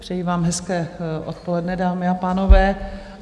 Přeji vám hezké odpoledne, dámy a pánové.